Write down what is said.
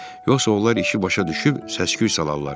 Yoxsa onlar işi başa düşüb səs-küy salarlar.